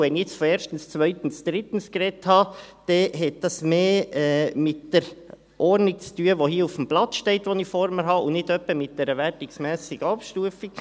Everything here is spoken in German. Wenn ich jetzt von erstens, zweitens, drittens gesprochen habe, hat das mehr mit der Ordnung auf den Unterlagen zu tun, die ich vor mir habe, und nicht etwa mit einer wertenden Abstufung.